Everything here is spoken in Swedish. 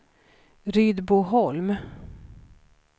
Rydboholm